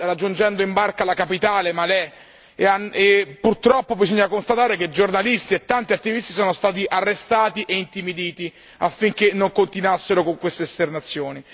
raggiungendo in barca la capitale Malé e purtroppo bisogna costatare che giornalisti e tanti attivisti sono stati arrestati e intimiditi affinché non continuassero con queste esternazioni.